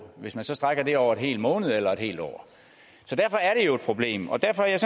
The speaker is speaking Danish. hvis man så strækker det over en hel måned eller et helt år så derfor er det jo et problem og derfor er jeg